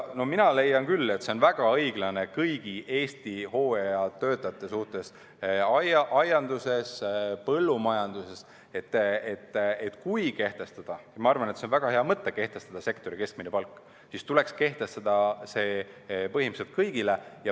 No mina leian küll, et oleks väga õiglane kõigi Eesti hooajatöötajate suhtes aianduses ja põllumajanduses, et kui kehtestada – ja ma arvan, et see on väga hea mõte – sektori keskmine palk, siis tuleks see kehtestada põhimõtteliselt kõigi kohta.